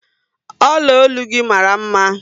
Ọla ọlụ gị mara mma